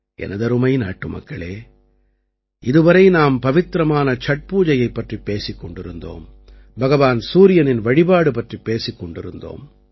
எனதருமை நாட்டுமக்களே இதுவரை நாம் பவித்திரமான சட்பூஜை பற்றிப் பேசிக் கொண்டிருந்தோம் பகவான் சூரியனின் வழிபாடு பற்றிப் பேசிக் கொண்டிருந்தோம்